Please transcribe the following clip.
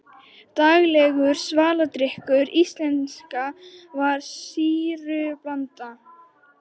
Daglegur svaladrykkur Íslendinga var sýrublanda.